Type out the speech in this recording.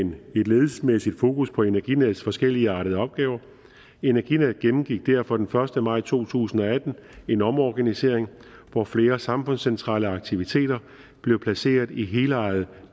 et ledelsesmæssigt fokus på energinets forskelligartede opgaver energinet gennemgik derfor den første maj to tusind og atten en omorganisering hvor flere samfundscentrale aktiviteter blev placeret i helejede